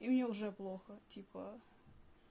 и мне уже плохо типа